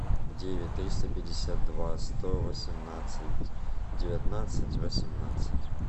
девять триста пятьдесят два сто восемнадцать девятнадцать восемнадцать